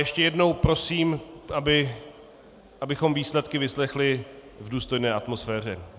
Ještě jednou prosím, abychom výsledky vyslechli v důstojné atmosféře.